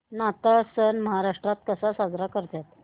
नाताळ सण महाराष्ट्रात कसा साजरा करतात